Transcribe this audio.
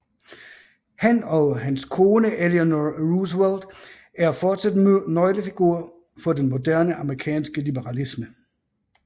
Han og hans kone Eleanor Roosevelt er fortsat nøglefigurer for den moderne amerikanske liberalisme